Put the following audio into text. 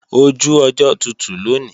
Oju ọjọ́ tutù lòní